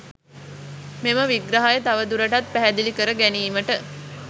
මෙම විග්‍රහය තවදුරටත් පැහැදිලි කර ගැනීමට